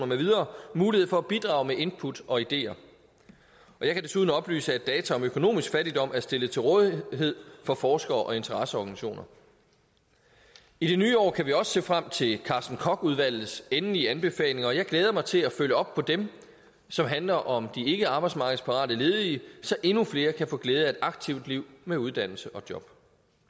med videre mulighed for at bidrage med input og ideer og jeg kan desuden oplyse at data om økonomisk fattigdom er stillet til rådighed for forskere og interesseorganisationer i det nye år kan vi også se frem til carsten koch udvalgets endelige anbefalinger og jeg glæder mig til at følge op på dem som handler om de ikkearbejdsmarkedsparate ledige så endnu flere kan få glæde af et aktivt liv med uddannelse og job